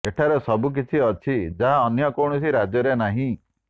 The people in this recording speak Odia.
ଏଠାରେ ସବୁକିଛି ଅଛି ଯାହା ଅନ୍ୟ କୌଣସି ରାଜ୍ୟରେ ନାହିଁ